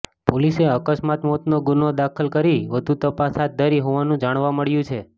પોલીસે અકસ્માત મોતનો ગુન્હો દાખલ કરી વધુ તપાસ હાથ ધરી હોવાનું જાણવા મળ્યું છે